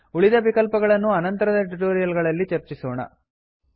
ಉಳಿದ ವಿಕಲ್ಪಗಳನ್ನು ಅನಂತರದ ಟ್ಯುಟೋರಿಯಲ್ ಗಳಲ್ಲಿ ಚರ್ಚಿಸೋಣ